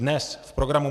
Dnes v programu